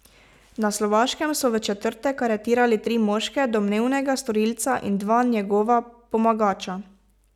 Na Slovaškem so v četrtek aretirali tri moške, domnevnega storilca in dva njegova pomagača.